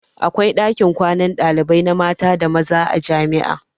Akwai ɗakin kwanan ɗalibai na maza da mata a jami'a.